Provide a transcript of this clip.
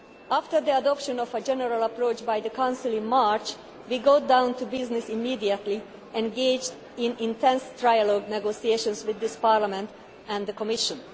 After the adoption of a general approach by the Council in March, we got down to business immediately, engaging in intense trialogue negotiations with Parliament and the Commission.